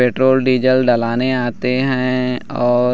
petrol diesel डलाने आते है और--